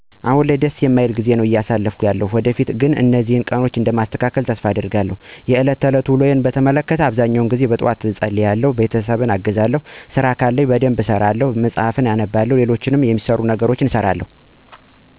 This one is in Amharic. አሁን ላይ ደስ የማይል ጊዜያት ነው አያሳለፍኩ ያለሁት። ወደፊት ግን እነዚህን ቀኖች እንደማስተካክላቸው ተስፋ አደርጋለሁ። የለት ተለት ውሎየን በተመለከተ በአብዛኛው ጊዜ ጠዋት እፀልያለሁ በመቀጠል ቤተሰብ አግዛለሁ ከዛ የምሰራው ስራ ከለ እነሱን በደንብ ጥንቅቅ አድርጌ እሰራለሁ፣ መጽሀፍት አነባለሁ፣ ልሎችም የምሰራቸው ነገሮች ካሉ እነሱን እሰራለሁ። በተለያዩ ቀናት የተለያዩ ስራወችን ልሰራ እምችልበት አጋጣሚ ይኖራል።